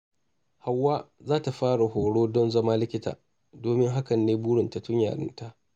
Hauwa za ta fara horo don zama likita, domin hakan ne burinta tun yarinta.